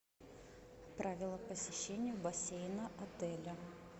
правила посещения бассейна отеля